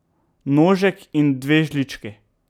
Nožek in dve žlički.